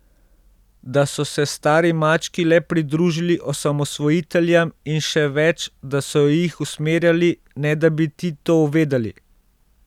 Da so se stari mački le pridružili osamosvojiteljem, in še več, da so jih usmerjali, ne da bi ti to vedeli.